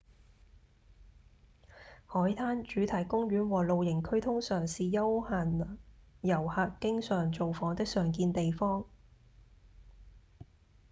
海灘、主題公園和露營區通常是休閒遊客經常造訪的常見地方